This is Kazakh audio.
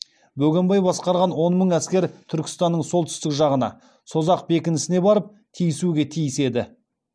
бөгенбай басқарған он мың әскер түркістанның солтүстік жағына созақ бекінісіне барып тиісуге тиіс еді